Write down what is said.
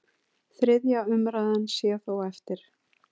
Þriðja umræða sé þó eftir.